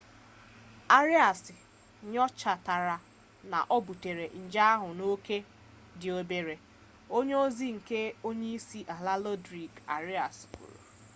arias nyochatara na o butere nje ahụ n'oke dị obere onye ozi nke onye isi ala rodrigo arias kwuru